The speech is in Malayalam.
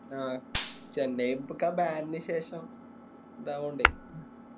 ആഹ് ചെന്നൈ ഒക്കെ ഇപ്പൊ Ban ന് ശേഷം ഇതായ്കൊണ്ടേ